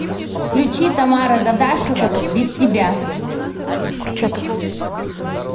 включи тамара дадашева без тебя